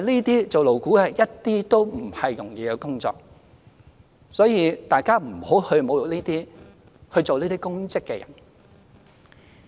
擔任勞顧會委員絕非容易的工作，所以大家不要侮辱擔任這些公職的人士。